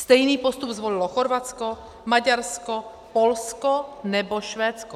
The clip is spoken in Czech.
Stejný postup zvolilo Chorvatsko, Maďarsko, Polsko nebo Švédsko.